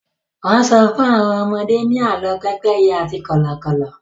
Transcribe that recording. wón so fún àwọn ọmọdé ni àlọ pépéye àti Kọ́lọ́kọ́l